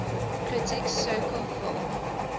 critics circle film